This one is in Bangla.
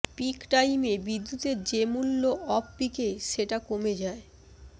পিক টাইমে বিদ্যুতের যে মূল্য অফ পিকে সেটা কমে যায়